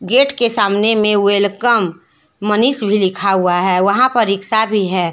Gate के सामने में वेलकम मनीष भी लिखा हुआ है वहां पर रिक्शा भी है।